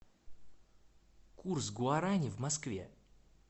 курс гуарани в москве